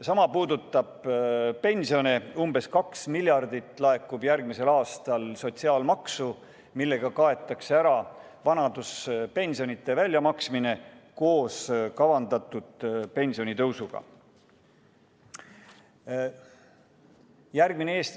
Sama puudutab pensione: umbes 2 miljardit laekub järgmisel aastal sotsiaalmaksu, millega kaetakse ära vanaduspensionide väljamaksmine koos kavandatud pensionitõusuga.